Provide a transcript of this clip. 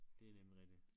Det nemlig rigtig